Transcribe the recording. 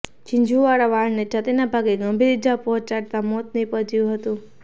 ઝીંઝુવાડા વાળાને છાતિના ભાગે ગંભીર ઈજા પહોચાડતા મોત નીપજયુ હતું